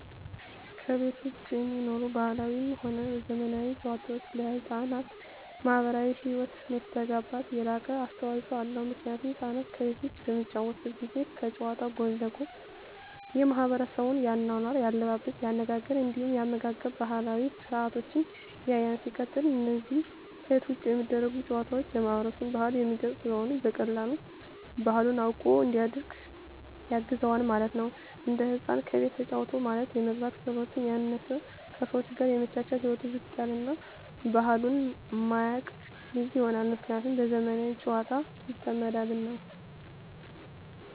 ከቤት ዉጪ የሚኖሩ ባህላዊም ሆነ ዘመናዊ ጨዋታወች ለሕፃናት ማህበራዊ ህይወት መስተጋብር የላቀ አስተዋጾ አለዉ ምክንያቱም ህፃናት ከቤት ዉጪ በሚጫወቱበት ጊዜ ከጨዋታዉ ጎን ለጎን የማሕበረሰቡን የአኗኗር፣ የአለባበስ፤ የአነጋገር እንዲሁም የአመጋገብ ባህላዊ ስርአቶችን ያያል። ሲቀጥል አነዛ ከቤት ዉጪ የሚደረጉ ጨዋታወች የማህበረሰብን ባህል የሚገልጽ ስለሆነ በቀላሉ ባህሉን አዉቆ እንዲያድግ ያግዘዋል ማለት ነዉ። አንድ ህፃን ከቤቱ ተጫወተ ማለት የመግባባት ክህሎቱ ያነሰ፣ ከሰወች ጋር የመቻቻል ህይወቱ ዝቅ ያለ እና ባህሉን የማያቅ ልጅ ይሆናል። ምክንያቱም በዘመናዊ ጨዋታወች ይጠመዳልና።